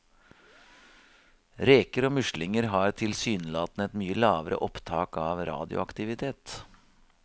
Reker og muslinger har tilsynelatende et mye lavere opptak av radioaktivitet.